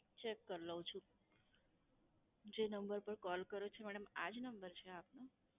check કર લઉં છું. જે નંબર પર call કર્યો છે madam આજ નંબર છે આપનો?